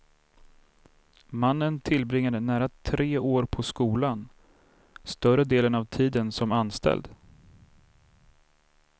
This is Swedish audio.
Mannen tillbringade nära tre år på skolan, större delen av tiden som anställd.